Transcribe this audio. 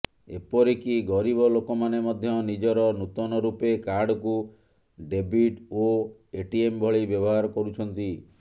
ଏପରିକି ଗରୀବ ଲୋକମାନେ ମଧ୍ୟ ନିଜର ନୂତନ ରୂପେ କାର୍ଡକୁ ଡେବିଟ୍ ଓ ଏଟିଏମ୍ ଭଳି ବ୍ୟବହାର କରୁଛନ୍ତି